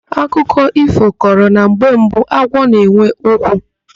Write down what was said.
Akụkọ ífò kọrọ na mgbe mbụ agwọ na-enwe ụkwụ.